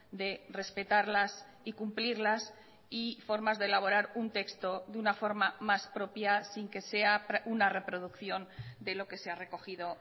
de respetarlas y cumplirlas y formas de elaborar un texto de una forma más propia sin que sea una reproducción de lo que se ha recogido